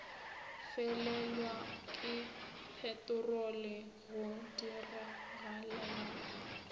felelwa ke peterolo go diragalela